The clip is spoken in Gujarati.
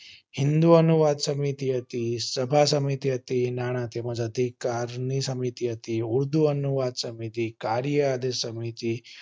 હિંદુ અનુવાદ સમિતિ હતી સભા સમિતિ હતી નાણા સમય અધિકાર ની સમિતિ હતી તેમજ હિંદુ અનુવાદ સમિતિ કાર્ય અનુવાદ સમિતિ